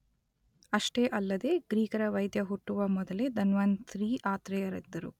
ಅಷ್ಟೇ ಅಲ್ಲದೆ ಗ್ರೀಕರ ವೈದ್ಯ ಹುಟ್ಟುವ ಮೊದಲೇ ಧನ್ವಂತರಿ ಆತ್ರೇಯರಿದ್ದರು.